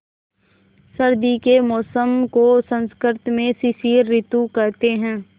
सर्दी के मौसम को संस्कृत में शिशिर ॠतु कहते हैं